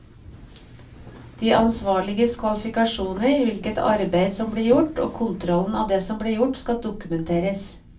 De ansvarliges kvalifikasjoner, hvilket arbeid som blir gjort og kontrollen av det som blir gjort, skal dokumenteres.